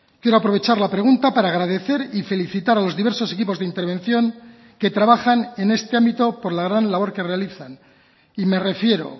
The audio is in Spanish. quiero aprovechar la pregunta para agradecer y felicitar a los diversos equipos de intervención que trabajan en este ámbito por la gran labor que realizan y me refiero